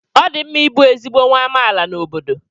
ọ dị mma ịbụ ezigbo nwa amaala n'obodo